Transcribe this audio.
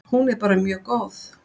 Hún er bara mjög góð.